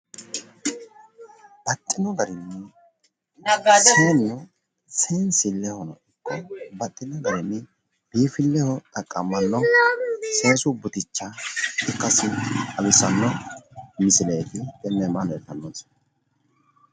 Seensille yaa babbaxino gerinni buurre ikko bonce noorichi iima lede biiffinsanni orteti